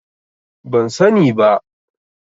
Ban sani ba.